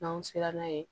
N'anw sera n'a ye